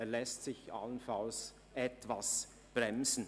Er lässt sich allenfalls etwas bremsen.